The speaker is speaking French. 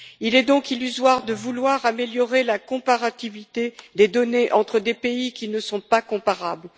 Il est donc illusoire de vouloir améliorer la comparabilité des données entre des pays qui ne sont pas comparables.